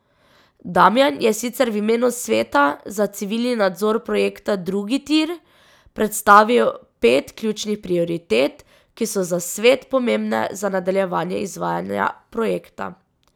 Damijan je sicer v imenu Sveta za civilni nadzor projekta Drugi tir predstavil pet ključnih prioritet, ki so za svet pomembne za nadaljevanje izvajanja projekta.